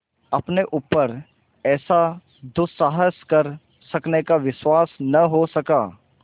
अपने ऊपर ऐसा दुस्साहस कर सकने का विश्वास न हो सका